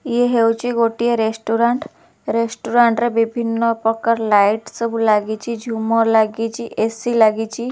ଏ ହେଉଛି ଗୋଟିଏ restaurant restaurant ରେ ବିଭିନ୍ନ ପ୍ରକାର ଲାଇଟ୍ ସବୁ ଲାଗିଛି ଝୁମର୍ ଲାଗିଛି ଏ_ସି ଲାଗିଛି।